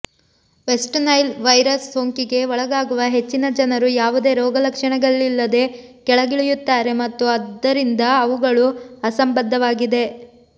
West Nile virus ಸೋಂಕಿಗೆ ಒಳಗಾಗುವ ಹೆಚ್ಚಿನ ಜನರು ಯಾವುದೇ ರೋಗಲಕ್ಷಣಗಳಿಲ್ಲದೇ ಕೆಳಗಿಳಿಯುತ್ತಾರೆ ಮತ್ತು ಆದ್ದರಿಂದ ಅವುಗಳು ಅಸಂಬದ್ಧವಾಗಿವೆ